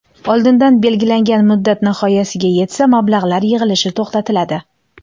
Oldindan belgilangan muddat nihoyasiga yetsa mablag‘lar yig‘ilishi to‘xtatiladi.